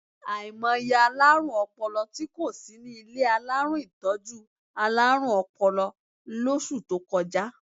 Àìmọye alárùn ọpọlọ tí kò sí ní ilé alárùn ìtọ́jú alárùn ọpọlọ lóṣù tó kọjá.